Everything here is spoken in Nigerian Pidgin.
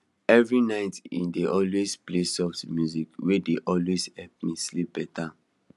every night e dey always play soft music wey dey always help am sleep better